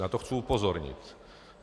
Na to chci upozornit.